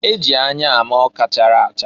E ji anya ama ọka chara acha.